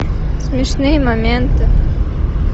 смешные моменты